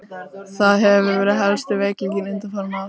Það hefur verið helsti veikleikinn undanfarin ár.